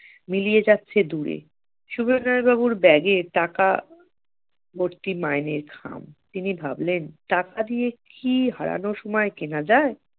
মিলিয়ে যাচ্ছে দূরে সুবিনয় বাবুর bag এ টাকা ভর্তি মাইনের খাম তিনি ভাবলেন টাকা দিয়ে কি হারানোর সময় কেনা যায়